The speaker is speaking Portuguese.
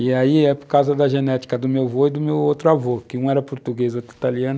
E aí é por causa da genética do meu avô e do meu outro avô, que um era português e o outro italiano.